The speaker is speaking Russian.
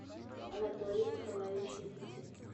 анатолий николаевич никитин